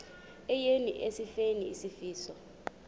eya esifeni isifo